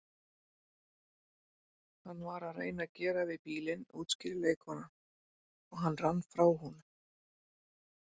Hann var að reyna að gera við bílinn útskýrir leikkonan, og hann rann frá honum